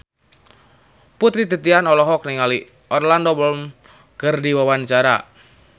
Putri Titian olohok ningali Orlando Bloom keur diwawancara